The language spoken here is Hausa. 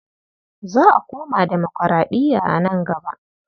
Za a koma demokuraɗiya a nan gaba.